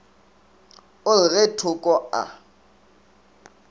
o re ge thoko a